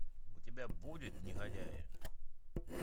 у тебя будет негодяи